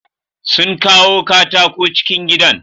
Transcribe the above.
Sun kawo katako cikin gidan.